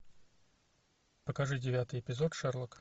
покажи девятый эпизод шерлок